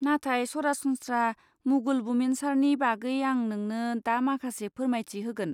नाथाय सरासनस्रा मुगल बुमिनसारनि बागै आं नोंनो दा माखासे फोरमायथि होगोन।